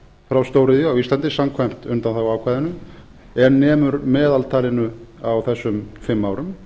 frá stóriðju á íslandi samkvæmt undanþáguákvæðinu en nemur meðaltalinu á þessum fimm árum